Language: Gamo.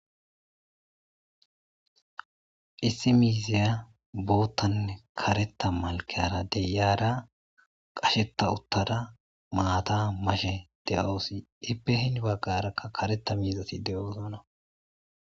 issi miiziya boottanne kareta malkara deyaara qasheta uttara maata mashe de7oosi ippehin baggarakka kareta miizasi de7oozana